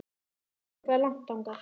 Veistu hvað er langt þangað?